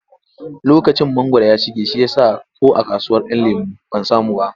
Lokacin mangwaro ya shige shi ya sa ko a kasuwar ‘Yan lemo ban samu ba.